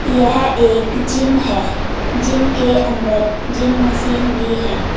यह एक जिम है जिम के अंदर जिम मशीन भी है।